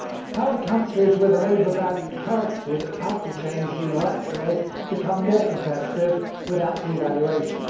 How do countries with an over valued currency that cannot be changed unilaterally become more competitive without devaluation?